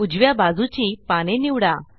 उजव्या बाजूची पाने निवडा